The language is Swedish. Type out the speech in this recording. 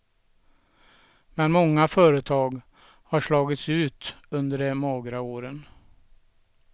Men många företag har slagits ut under de magra åren.